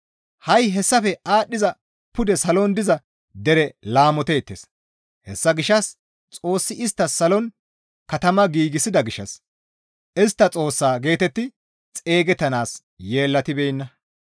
Ha7i hessafe aadhdhiza pude salon diza dere laamoteettes; hessa gishshas Xoossi isttas salon katama giigsida gishshas, «Istta Xoossaa» geetetti xeygettanaas yeellatibeenna.